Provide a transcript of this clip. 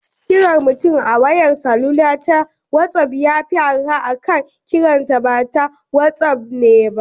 Kiran mutum a wayar salula ta wazof yafi arha akan kiransa bata wazof din ba.